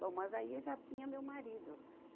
Bom, mas aí eu já tinha meu marido.